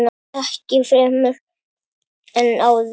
Ekki fremur en áður.